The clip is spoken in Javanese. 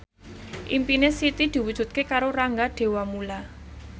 impine Siti diwujudke karo Rangga Dewamoela